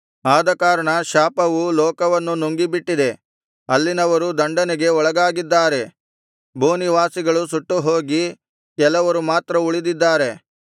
ಆದಕಾರಣ ಶಾಪವು ಲೋಕವನ್ನು ನುಂಗಿಬಿಟ್ಟಿದೆ ಅಲ್ಲಿನವರು ದಂಡನೆಗೆ ಒಳಗಾಗಿದ್ದಾರೆ ಭೂನಿವಾಸಿಗಳು ಸುಟ್ಟುಹೋಗಿ ಕೆಲವರು ಮಾತ್ರ ಉಳಿದಿದ್ದಾರೆ